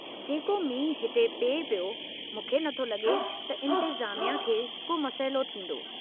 जेका मींहुं हिते पिए पियो, मूंखे नथो लॻे त इंतेज़ामिया खे को मसइलो थींदो।